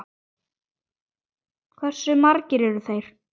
Hversu margir eru þeir?